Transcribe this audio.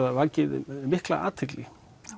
vakið mikla athygli